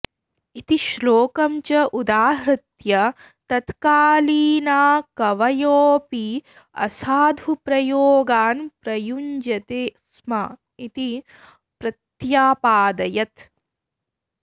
इति श्लोकं च उदाहृत्य तत्कालीना कवयोऽपि असाधुप्रयोगान् प्रयुञ्जते स्म इति प्रत्यपादयत्